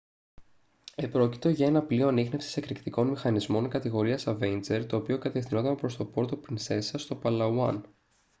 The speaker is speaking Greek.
επρόκειτο για ένα πλοίο ανίχνευσης εκρηκτικών μηχανισμών κατηγορίας avenger το οποίο κατευθυνόταν προς το πόρτο πρινσέσα στο παλαουάν